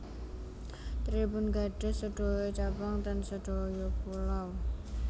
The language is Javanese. Tribun gadhah sedoyo cabang ten sedoyo pulau